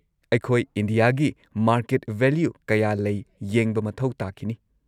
ꯑꯩꯈꯣꯏ ꯏꯟꯗꯤꯌꯥꯒꯤ market value ꯀꯌꯥ ꯂꯩ ꯌꯦꯡꯕ ꯃꯊꯧ ꯇꯥꯈꯤꯅꯤ꯫